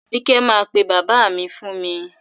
Àbíkẹ́ máa pe bàbá mi fún mi.